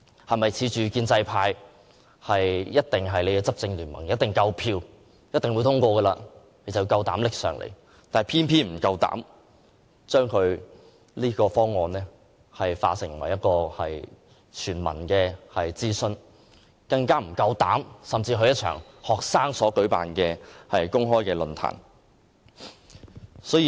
它是否恃着有建制派作為其執政聯盟，一定有足夠票數獲得通過，因此便膽敢提交立法會，卻偏沒勇氣就這方案進行全民諮詢，更沒勇氣出席任何一場由學生舉辦的公開論壇呢？